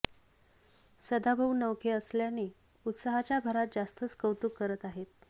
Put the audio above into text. सदाभाऊ नवखे असल्याने उत्साहाच्या भरात जास्तच कौतुक करत आहेत